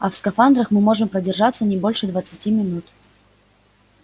а в скафандрах мы можем продержаться не больше двадцати минут